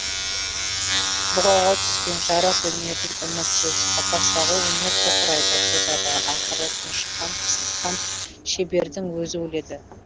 бұғауға түскен жарық дүниеден үмітсіз қапастағы өнер тоқырайды тозады ақыры тұншыққан қыстыққан шебердің өзі өледі